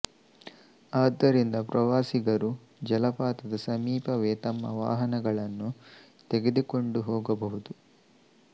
ಆದ್ದರಿಂದ ಪ್ರವಾಸಿಗರು ಜಲಪಾತದ ಸಮೀಪವೇ ತಮ್ಮ ವಾಹನಗಳನ್ನು ತೆಗೆದುಕೊಂಡು ಹೋಗಬಹುದು